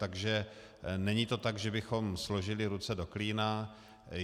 Takže to není tak, že bychom složili ruce do klína.